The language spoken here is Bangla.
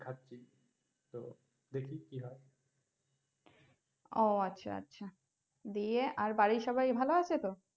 ও আচ্ছা আচ্ছা দিয়ে আর বাড়ির সবাই ভালো আছে তো?